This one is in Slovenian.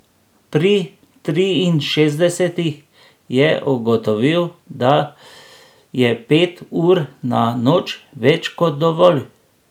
Pri triinšestdesetih je ugotovil, da je pet ur na noč več kot dovolj.